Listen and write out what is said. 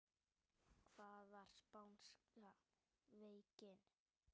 Hvað var spánska veikin?